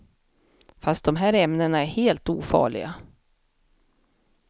Fast de här ämnena är helt ofarliga.